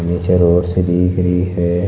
निचे रोड सी दिख रही है।